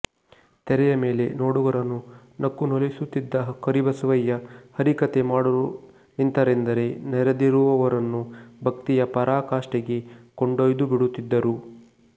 ತೆರೆಯ ಮೇಲೆ ನೋಡುಗರನ್ನು ನಕ್ಕು ನಲಿಸುತ್ತಿದ್ದ ಕರಿಬಸವಯ್ಯ ಹರಿಕಥೆ ಮಾಡಲು ನಿಂತರೆಂದರೆ ನೆರೆದಿರುವವರನ್ನು ಭಕ್ತಿಯ ಪರಾಕಾಷ್ಠೆಗೆ ಕೊಂಡೊಯ್ದುಬಿಡುತ್ತಿದ್ದರು